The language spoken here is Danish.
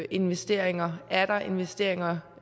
investeringer er der investeringer